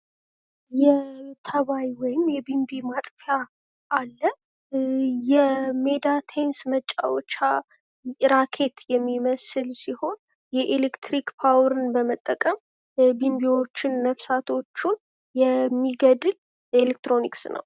የተባይ ወይም የቢንቢ ማጥፊያ አለ። የሜዳ ቴኒስ ማጫወቻ ኪራኬት የሚመስል የኤሌክትሪክ ፓወርን በመጠቀም ቢንቢዎችን ነፍሳቶችን የሚገድል ኤሌክትሮኒክስ ነው።